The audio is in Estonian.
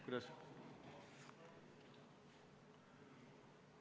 Kuidas?